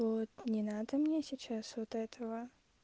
вот не надо мне сейчас вот этого